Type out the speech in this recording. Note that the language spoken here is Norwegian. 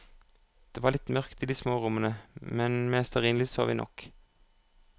Det var litt mørkt i de små rommene, men med stearinlys så vi nok.